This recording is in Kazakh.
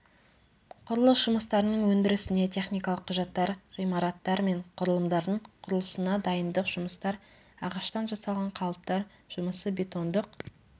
құрылыс жұмыстарының өндірісіне техникалық құжаттар ғимараттар мен құрылымдардың құрылысына дайындық жұмыстар ағаштан жасалған қалыптар жұмысы бетондық